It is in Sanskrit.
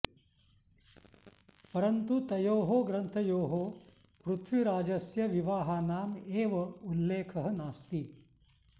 परन्तु तयोः ग्रन्थयोः पृथ्वीराजस्य विवाहानाम् एव उल्लेखः नास्ति